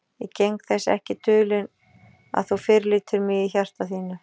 Ég geng þess ekki dulinn, að þú fyrirlítur mig í hjarta þínu.